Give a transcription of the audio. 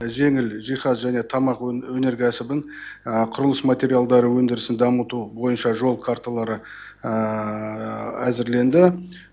жеңіл жиһаз және тамақ өнеркәсібін құрылыс материалдары өндірісін дамыту бойынша жол карталары әзірленді